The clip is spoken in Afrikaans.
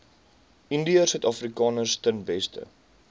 indiërsuidafrikaners ten beste